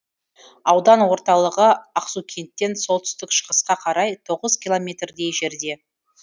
аудан орталығы ақсукенттен солтүстік шығысқа қарай тоғыз километрдей жерде